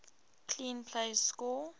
clean plays score